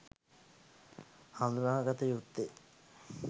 හඳුනාගත යුත්තේ